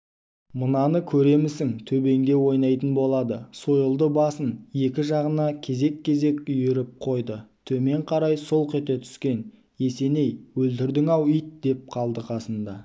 мынаны көремісің төбеңде ойнайтын болады сойылды басын екі жағына кезек-кезек үйіріп қойды төмен қарай солқ ете түскен есеней өлтірдің-ау ит деп қалды қасында